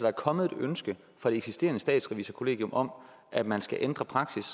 er kommet et ønske fra det eksisterende statsrevisorkollegium om at man skal ændre praksis